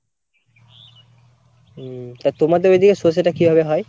হম তা তোমাদের ওইদিকে সর্ষেটা কিভাবে হয় ?